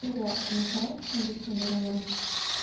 теперь я конечно раньше чем обычно иду домой